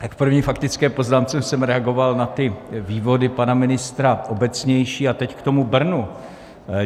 V první faktické poznámce jsem reagoval na ty vývody pana ministra obecnější a teď k tomu Brnu.